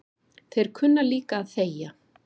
Þeir kunna líka að þegja